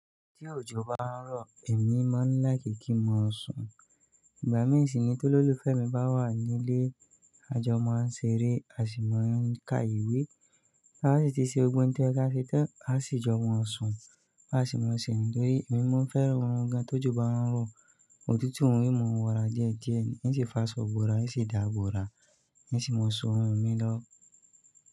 Tí òjò bá ń rọ, èmi máa ń like ki n máa sùn. Ìgbà mìí sì ni tololúfẹ́ mi bá wà nílé, a jọ máa ń ṣeré, a sì máa ń ka ìwé. A si ti se gbogbo n to yẹ ka se tan, a si jọ máa sun. Bi a se máa n se niyen. Torí emi máa n fẹ́ran oorun gan tojo ba n rọ. Òtútù un n mo ń wọra díẹ̀ díẹ̀, n sì fà ásọ ibọ́ra, n sì dáa gbọ́ra, n sì máa sun oorun mi lọ́.